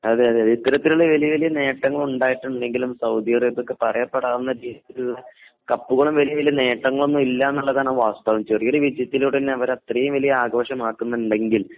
അതെയതെ ഇത്തരത്തിലുള്ള വലിയ വലിയ നേട്ടങ്ങൾ ഉണ്ടായിട്ടുണ്ടെങ്കിലും സൗദി സൗദി അറേബിയക്ക് പറയപ്പെടാവുന്ന കപ്പുകളും വലിയ വലിയ നേട്ടങ്ങളൊന്നും ഇല്ല എന്നുള്ളതാണ് വാസ്തവം. വിജയത്തിലൂടെത്തന്നെ അവർ അത്രയും വലിയ ആഘോഷമാക്കുന്നുണ്ടെങ്കിൽ